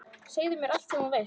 Segðu mér allt sem þú veist.